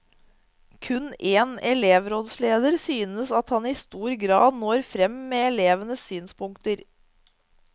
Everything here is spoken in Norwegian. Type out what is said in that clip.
Kun én elevrådsleder synes at han i stor grad når frem med elevenes synspunkter.